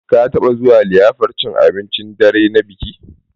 Ka taɓa zuwa liyafar cin abincin dare na biki?